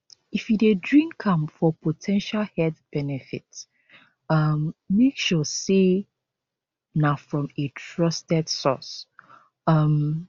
if you dey drink am for po ten tial health benefits um make sure say na from a trusted source um